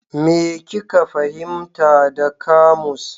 Me kika fahimta da kamus?